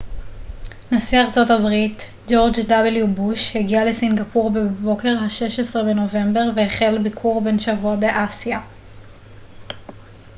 נשיא ארה ב ג'ורג' וו בוש הגיע לסינגפור בבוקר ה-16 בנובמבר והחל ביקור בן שבוע באסיה